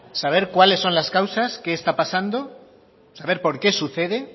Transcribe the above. saber cuáles son las causas qué está pasando saber por qué sucede